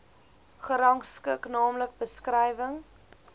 gerangskik naamlik beskrywing